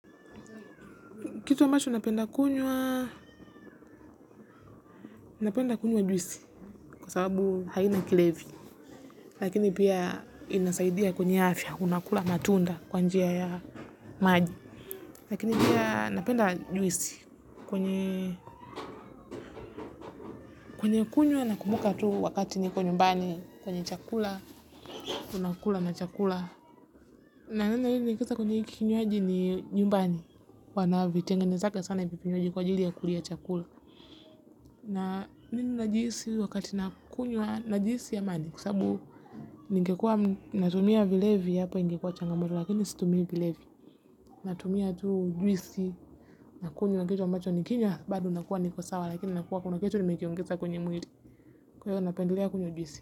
Kitu ambacho napenda kunywa kunywa juisi kwa sababu haina kilevi. Lakini pia inasaidia kwenye afya unakula matunda kwa njia ya maji. Lakini pia napenda juisi kwenye kunywa nakumuka tu wakati niko nyumbani kwenye chakula. Unakula na chakula. Na nina hili nikisa kwenye kikinyuaji ni nyumbani. Wanavitengenezaga sana hivi vinywaji kwa ajili ya kulia chakula. Na mimi najihisi wakati na kunywa najihisi amani kwa sababu ningekuwa natumia vilevi hapo ingekuwa changamoto lakini situmii vilevi natumia tu juisi na kunywa kitu ambacho nikinywa bado nakuwa niko sawa lakini nakuwa kuna kitu nimekiongeza kwenye mwili kwahyo napendelea kunywa juisi.